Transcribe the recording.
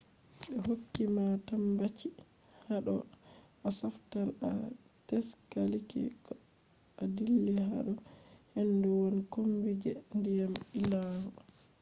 be hokki ma tambaci hado a sofnan ta a tsaliki koh a dilli hado hendu woni kombi je diyam illangol